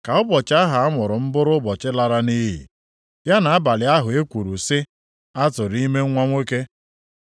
“Ka ụbọchị ahụ amụrụ m bụrụ ụbọchị lara nʼiyi; ya na abalị ahụ e kwuru sị, ‘Atụrụ ime nwa nwoke.’